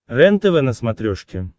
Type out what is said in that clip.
рентв на смотрешке